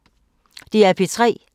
DR P3